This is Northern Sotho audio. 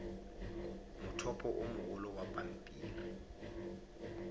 mothopo o mogolo wa pampiri